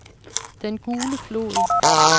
Den Gule Flod